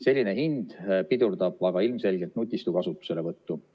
Selline hind pidurdab aga ilmselgelt nutistu kasutuselevõttu.